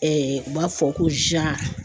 u b'a fɔ ko .